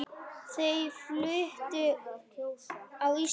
Þau fluttu út á land.